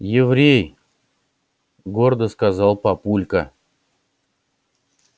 еврей гордо сказал папулька